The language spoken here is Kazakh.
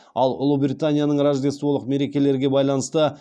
ал ұлыбританияның рождестволық мерекелерге байланысты